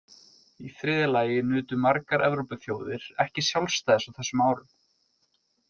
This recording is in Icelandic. Í þriðja lagi nutu margar Evrópuþjóðir ekki sjálfstæðis á þessum árum.